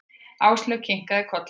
Áslaug kinkaði kolli.